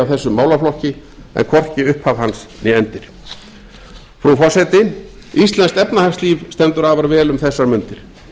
þess málaflokki en hvorki upphaf hans né endir frú forseti íslenskt efnahagslíf stendur afar vel um þessar mundir